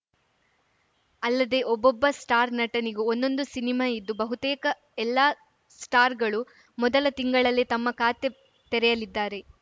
ಅಲ್ಲದೆ ಒಬ್ಬೊಬ್ಬ ಸ್ಟಾರ್‌ ನಟನಿಗೂ ಒಂದೊಂದು ಸಿನಿಮಾ ಇದ್ದು ಬಹುತೇಕ ಎಲ್ಲಾ ಸ್ಟಾರ್‌ಗಳು ಮೊದಲ ತಿಂಗಳಲ್ಲೇ ತಮ್ಮ ಖಾತೆ ತೆರೆಯಲಿದ್ದಾರೆ